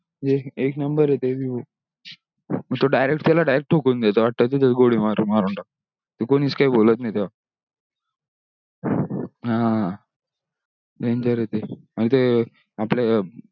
एक एक नंबर ते भी भो तो direct त्याला direct ठोकून देतो वाटतो तिथेच गोळी मारून मारून तो कोणीच काही बोलत नाही तेव्हा